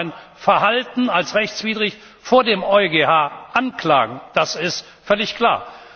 Sie können mein Verhalten als rechtswidrig vor dem EuGH anklagen, das ist völlig klar.